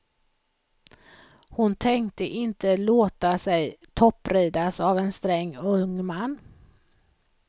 Hon tänkte inte låta sig toppridas av en sträng ung man.